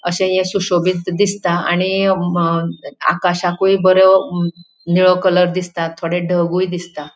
अशे ये शुशोबित दिसता आणि अ म आकाशाकुय बरो निळो कलर दिसता. थोडे ढगुयु दिसता.